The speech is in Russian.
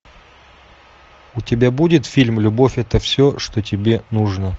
у тебя будет фильм любовь это все что тебе нужно